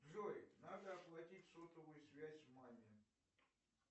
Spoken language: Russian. джой надо оплатить сотовую связь маме